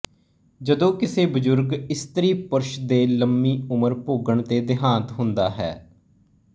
ਜਦੋਂ ਕਿਸੇ ਬਜ਼ੁਰਗ ਇਸਤਰੀ ਪੁਰਸ਼ ਦੇ ਲੰਮੀ ਉਮਰ ਭੋਗਣ ਤੇ ਦੇਹਾਂਤ ਹੁੰਦਾ ਹੈ